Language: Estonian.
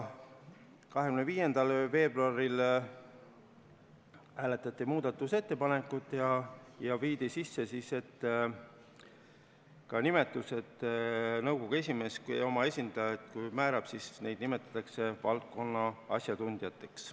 25. veebruaril hääletati muudatusettepanekuid ja viidi sisse muudatus, et kui nõukogu esimees oma esindajad määrab, siis neid nimetatakse valdkonna asjatundjateks.